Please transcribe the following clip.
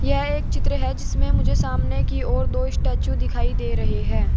यह एक चित्र है जिसमें मुझे सामने की ओर दो स्टैचू दिखाई दे रहे हैं।